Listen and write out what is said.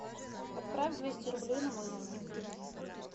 отправь двести рублей на мой номер